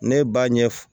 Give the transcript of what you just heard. Ne ba ɲɛ f